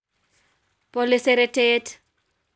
Bole seretet